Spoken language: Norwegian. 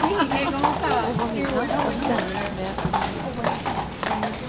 Over midnatt er stemningen mer utflytende.